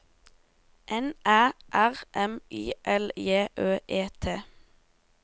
N Æ R M I L J Ø E T